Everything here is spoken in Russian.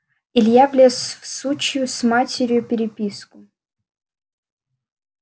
илья влез в сучью с матерью переписку